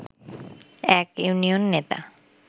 এক ইউনিয়ন নেতা